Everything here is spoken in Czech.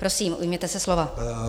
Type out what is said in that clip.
Prosím, ujměte se slova.